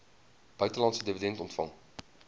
buitelandse dividende ontvang